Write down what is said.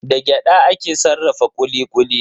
Da gyada ake sarrafa kuli-kuli.